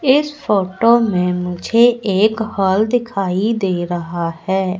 इस फोटो में मुझे एक हाॅल दिखाई दे रहा है।